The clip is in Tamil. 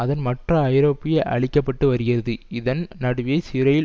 அதன் மற்ற ஐரோப்பிய அளிக்க பட்டு வருகிறது இதன் நடுவே சிறையில்